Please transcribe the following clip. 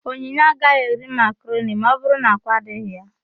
Onyinye agaghị eri makaroni ma ọbụrụ na ákwá adịghị ya.